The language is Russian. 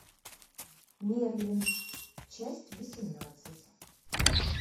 мерлин часть восемнадцать